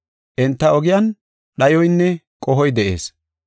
Enta ogiyan dhayoynne qohoy de7ees.